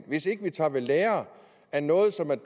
hvis ikke vi tager ved lære af noget som man